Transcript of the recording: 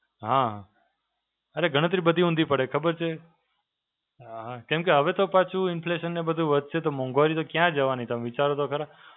હાં, અરે ગણતરી બધી ઊંધી પડે ખબર છે. અ હાં, કેમ કે હવે તો પાછું interest અને બધુ વધશે તો મોંઘવારી તો કયા જવાની? તમે વિચારો તો ખરા.